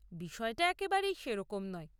বিষয়টা একেবারেই সেরকম নয়।